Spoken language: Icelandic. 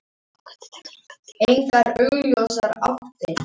Frumvarpið er aðgengilegt hér